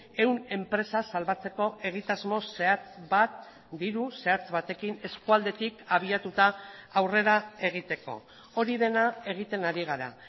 ehun enpresa salbatzeko egitasmo zehatz bat diru zehatz batekin eskualdetik abiatuta aurrera egiteko hori dena egiten ari gara